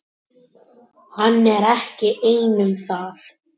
Hann er ekki einn um það.